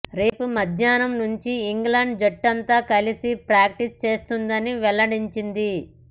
రేపు మధ్యాహ్నం నుంచి ఇంగ్లాండ్ జట్టంతా కలిసి ప్రాక్టీస్ చేస్తుందని వెల్లడించింది